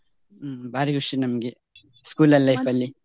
ಹ್ಮ್ ಭಾರಿ ಖುಷಿ ನಮ್ಗೆ school .